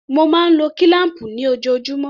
Mo máa ń lo kílám̀pù ni ojoojúmọ́.